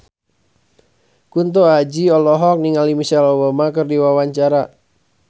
Kunto Aji olohok ningali Michelle Obama keur diwawancara